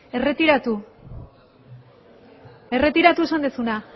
erretiratu erretiratu esan duzuna